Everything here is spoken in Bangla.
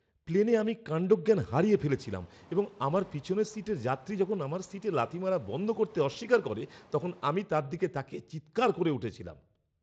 প্লেনে আমি কাণ্ডজ্ঞান হারিয়ে ফেলেছিলাম এবং আমার পিছনের সিটের যাত্রী যখন আমার সিটে লাথি মারা বন্ধ করতে অস্বীকার করে তখন আমি তার দিকে তাকিয়ে চিৎকার করে উঠেছিলাম।